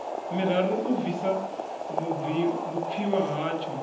miraru u bvisa vhupfiwa hatsho